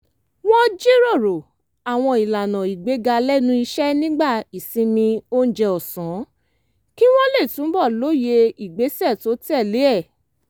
wọ́n jíròrò àwọn ìlànà ìgbéga lẹ́nu iṣẹ́ nígbà ìsinmi oúnjẹ ọ̀sán kí wọ́n lè túbọ̀ lóye ìgbésẹ̀ tó tẹ̀lé e